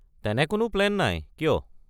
তেনে কোনো প্লেন নাই, কিয়?